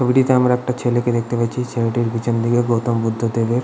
ছবিটিতে আমার একটা ছেলেকে দেখতে পাচ্ছি ছেলেটির পিছন দিকে গৌতম বুদ্ধদেবের--